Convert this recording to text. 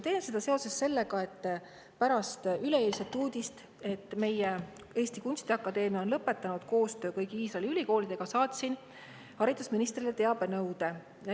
Teen seda seoses sellega, et pärast üleeilset uudist selle kohta, et meie Eesti Kunstiakadeemia on lõpetanud koostöö kõigi Iisraeli ülikoolidega, saatsin haridusministrile teabenõude.